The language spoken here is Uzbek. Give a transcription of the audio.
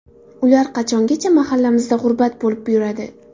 Ular qachongacha mahallamizda g‘urbat bo‘lib yuradi?